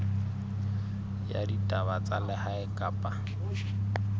ya ditaba tsa lehae kapa